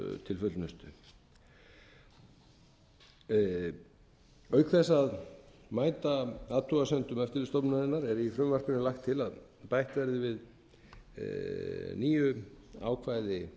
til fullnustu auk þess að mæta athugasemdum eftirlitsstofnunarinnar er í frumvarpinu lagt til að bætt verði við nýju ákvæði